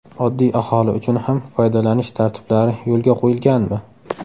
Oddiy aholi uchun ham foydalanish tartiblari yo‘lga qo‘yilganmi?